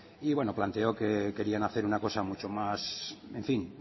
y bueno planteó que querían hacer una cosa mucho más en fin